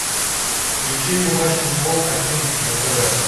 включи мне матч футбол один на тв